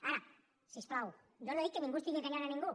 ara si us plau jo no he dit que ningú estigui enganyant ningú